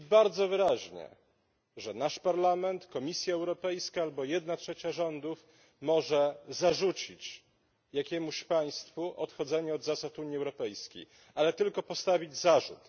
mówi bardzo wyraźnie, że nasz Parlament, Komisja Europejska albo jedna trzecia rządów może zarzucić jakiemuś państwu odchodzenie od zasad Unii Europejskiej, ale tylko postawić zarzut.